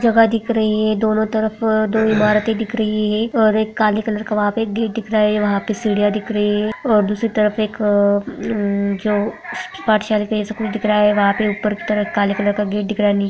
जगह दिख रही है दोनो तरफ दो इमारते दिख रही है और एक काले कलर का वहां पे गेट दिख रहा है वहां पे सीढ़ियाँ दिख रही है और दूसरे तरफ एक उम जो पाठशाले कुछ दिख रहा है वहां पे ऊपर की तरफ काले कलर का गेट दिख रहा है नीचे--